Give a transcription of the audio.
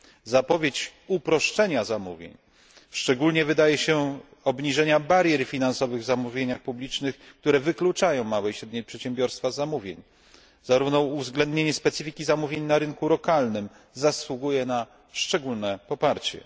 Zapowiedź uproszczenia zamówień, szczególnie obniżenia barier finansowych w zamówieniach publicznych, które wykluczają małe i średnie przedsiębiorstwa z zamówień, a także uwzględnienie specyfiki zamówień na rynku lokalnym zasługuje na szczególne poparcie.